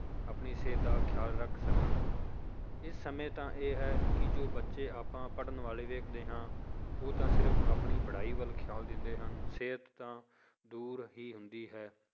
ਆਪਣੀ ਸਿਹਤ ਦਾ ਖਿਆਲ ਰੱਖ ਸਕਣ, ਇਹ ਸਮੇਂ ਤਾਂ ਇਹ ਹੈ ਕਿ ਜੋ ਬੱਚੇ ਆਪਾਂ ਪੜ੍ਹਣ ਵਾਲੇ ਵੇਖਦੇ ਹਾਂ ਉਹ ਤਾਂ ਸਿਰਫ਼ ਆਪਣੀ ਪੜ੍ਹਾਈ ਵੱਲ ਖਿਆਲ ਦਿੰਦੇ ਹਨ ਸਿਹਤ ਤਾਂ ਦੂਰ ਹੀ ਹੁੰਦੀ ਹੈ